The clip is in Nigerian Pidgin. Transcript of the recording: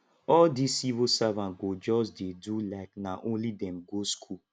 all these civil servant go just dey do like nah only them go school